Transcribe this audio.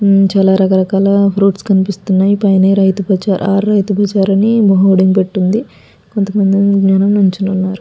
ఆహ్ చాలా రకాల ఫ్రూయిట్స్ కనిపిస్తున్నాయి పైన రైతు బజార్ అని హోర్డింగ్ పెట్టి ఉంది. కొంత మంది వెనక నించుని ఉన్నారు.